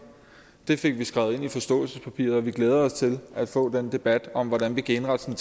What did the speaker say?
det fik vi skrevet ind i forståelsespapiret og vi glæder os til at få den debat om hvordan vi kan indrette